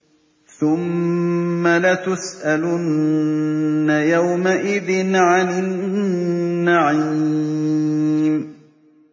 ثُمَّ لَتُسْأَلُنَّ يَوْمَئِذٍ عَنِ النَّعِيمِ